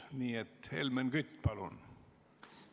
Nii et Helmen Kütt, palun!